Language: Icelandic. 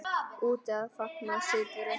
Úti að fagna sigri.